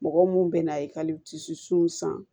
Mɔgɔ mun bɛ na san